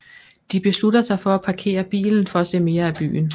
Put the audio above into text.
De beslutter sig for at parkere bilen for at se mere af byen